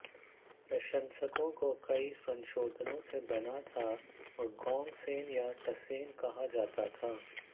प्रशंसकों को कई संशोधनों से बना था और गोंगसेन या टसेन कहा जाता था